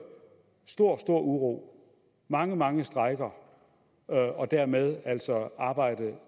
stor stor uro mange mange strejker og dermed altså arbejde